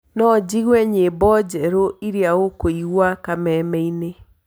no njĩgũe nyĩmbo njerũĩrĩaũngĩĩgũa kamemeĩnĩ